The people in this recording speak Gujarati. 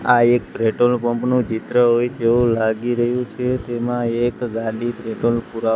આ એક પેટ્રોલ પંપ નુ ચિત્ર હોય તેવુ લાગી રહ્યુ છે તેમા એક ગાડી પેટ્રોલ પુરા--